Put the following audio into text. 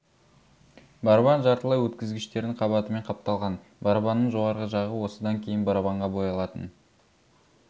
барабан жартылай өткізгіштердің қабатымен қапталған барабанның жоғарғы жағы осыдан кейін барабанға боялатын